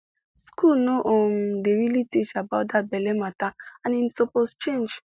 school no um dey really teach about that belle matter and e suppose change